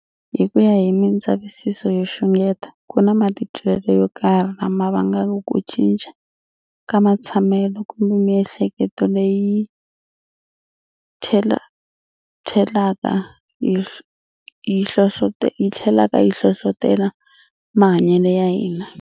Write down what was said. Hikuya hi mindzavisiso yo xungeta, kuna matitwele yo karhi lawa mavangaka ku cinca ka mathsamele kumbe miehleketo leyi yithelaka yi hlohlotela mahanyele ya hina.